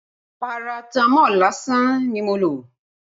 Paratamọ́ọ̀ lásán ni mo lò